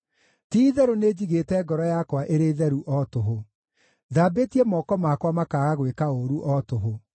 Ti-itherũ, nĩnjigĩte ngoro yakwa ĩrĩ theru o tũhũ; thambĩtie moko makwa makaaga gwĩka ũũru o tũhũ.